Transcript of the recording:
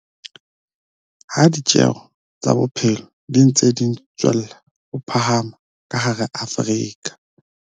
Ha ditjeo tsa bophelo di ntse di tswella ho phahama ka hara Afrika